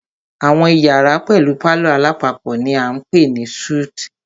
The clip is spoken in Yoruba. Àwọn iyàrá pẹlú palọ̀ alápapọ̀ ni a ń pè ní súítì.